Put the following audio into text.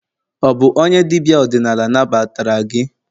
ọ bu onye dibia odinala nagbatara gi?